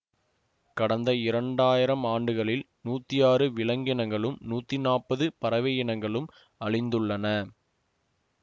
கடந்த இரண்டாயிரம் ஆண்டுகளில் நூத்தி ஆறு விலங்கினங்களும் நூத்தி நாப்பது பறவையினங்களும் அழிந்துள்ளன